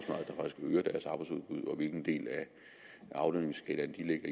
hvilken del af aflønningsskalaen de ligger